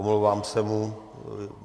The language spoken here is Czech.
Omlouvám se mu.